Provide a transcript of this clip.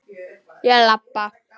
Ég labba.